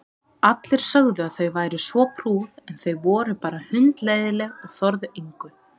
Allir sögðu að þau væru svo prúð en þau voru bara hundleiðinleg og þorðu engu.